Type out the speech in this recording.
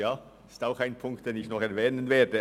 Das ist auch ein Punkt, den ich noch erwähnen werde.